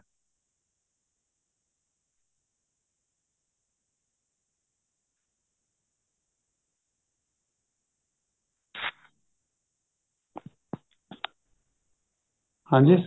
ਹਾਂਜੀ